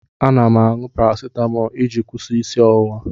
Ana m aṅụ parasitamọlụ iji kwụsị isi ọwụwa.